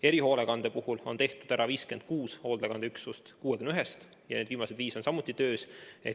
Erihoolekande puhul on vaktsineeritud 56 hoolekandeüksust 61 üksusest ja viimased viis on samuti töös.